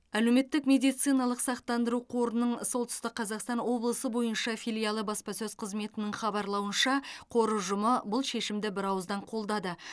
әлеуметтік медициналық сақтандыру қорының солтүстік қазақстан облысы бойынша филиалы баспасөз қызметінің хабарлауынша қор ұжымы бұл шешімді бірауыздан қолдады